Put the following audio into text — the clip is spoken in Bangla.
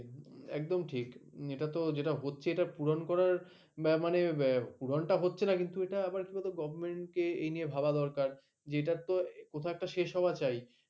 একদম ঠিক এটা যেটা হচ্ছে এটা পূরণ করার মানে হচ্ছে না কিছু গভ. কে এই নিয়ে ভাবা দরকার যে এটার তো কোথাও একটা শেষ হওয়া চাই